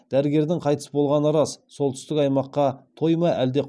дәрігердің қайтыс болғаны рас солтүстік аймаққа той ма әлде